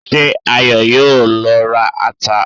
Ṣé Ayọ̀ yóò lọ ra ata?